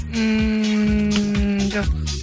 ммм жоқ